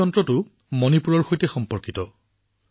এই সঁজুলিটোৰ মণিপুৰৰ সৈতে সম্পৰ্ক আছে